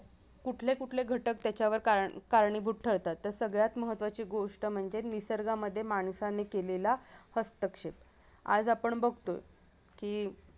कुठले कुठले घटक त्याच्यावर कारणी-कारणीभूत ठरतात तर सगळ्यात महत्त्वाची गोष्ट म्हणजे निसर्गामध्ये माणसाने केलेला हस्तक्षेप आज आपण बघतोय की